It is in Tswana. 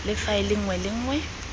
le faele nngwe le nngwe